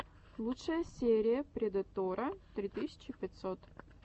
лучшая серия предэтора три тысячи пятьсот